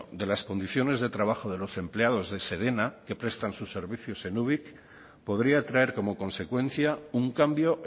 de las condiciones de trabajo de los empleados de sedena que prestan sus servicios en ubik podría traer como consecuencia un cambio